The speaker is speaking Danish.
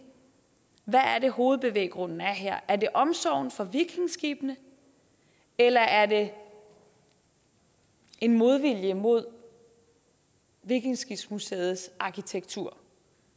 er hovedbevæggrunden er her er det omsorgen for vikingeskibene eller er det en modvilje mod vikingeskibsmuseets arkitektur